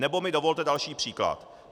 Nebo mi dovolte další příklad.